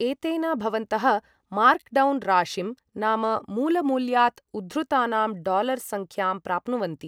एतेन भवन्तः मार्कडौन् राशिं नाम मूलमूल्यात् उद्धृतानां डालर सङ्ख्यां प्राप्नुवन्ति।